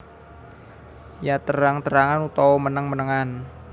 Ya terang terangan utawa meneng menengan